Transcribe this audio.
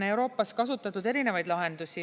Euroopas on kasutatud erinevaid lahendusi.